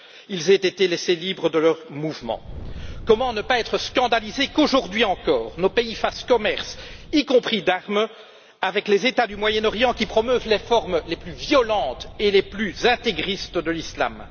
ils ont été laissés libres de leurs mouvements? Comment ne pas être scandalisé qu'aujourd'hui encore, nos pays fassent commerce, y compris d'armes, avec les États du Moyen Orient qui promeuvent les formes les plus violentes et les plus intégristes de l'islam?